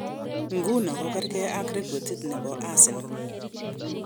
Nguno kokergei ak rekodit ne bo Arsenal.